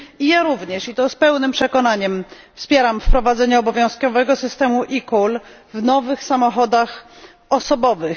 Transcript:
Ja również, i to z pełnym przekonaniem, wspieram wprowadzenie obowiązkowego systemu e Call w nowych samochodach osobowych.